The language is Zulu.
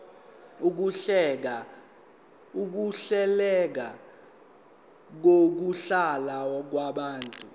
ukuhleleka kokuhlala kwabantu